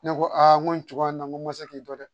Ne ko aa n ko nin cogoya in na n ko n ma se k'i to dɛ